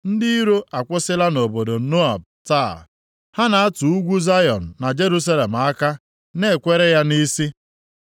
Ndị iro akwụsịla nʼobodo Nob taa; ha na-atụ ugwu Zayọn na Jerusalem aka, na-ekwere ya nʼisi.